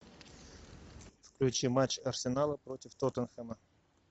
включи матч арсенала против тоттенхэма